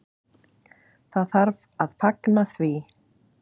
Það þarf að fagna því.